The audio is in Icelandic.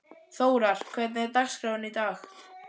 Þórar, hvernig er dagskráin í dag?